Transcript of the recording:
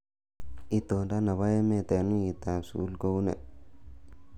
itondot nebo emet eng wikit ab sukul kounee